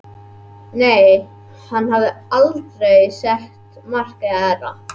Nei, hann hafði aldrei sett markið hærra.